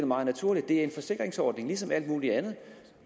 meget naturligt det er en forsikringsordning ligesom alt muligt andet